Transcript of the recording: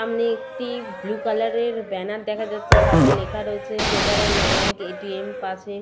সামনে একটি blue colour এর ব্যানার দেখা যাচ্ছে তাতে লেখা রয়েছে ফেডারেল ব্যাংক এ.টি.এম. পাশে--